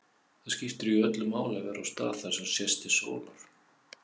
Það skiptir jú öllu máli að vera á stað þar sem sést til sólar.